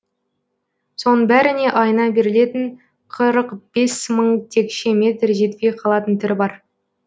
соның бәріне айына берілетін қырық бес мың текше метр жетпей қалатын түрі бар